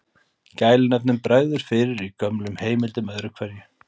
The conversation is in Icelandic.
Gælunöfnum bregður fyrir í gömlum heimildum öðru hverju.